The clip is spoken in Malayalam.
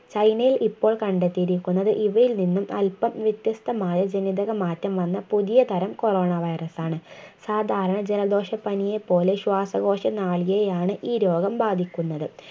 ചൈനയിൽ ഇപ്പോൾ കണ്ടെത്തിയിരിക്കുന്നത് ഇവയിൽ നിന്നും അല്പം വ്യത്യസ്തമായ ജനിതകമാറ്റം വന്ന പുതിയ തരം coronavirus ആണ് സാധാരണ ജലദോഷപനിയെ പോലെ ശ്വാസകോശ നാളിയെയാണ് ഈ രോഗം ബാധിക്കുന്നത്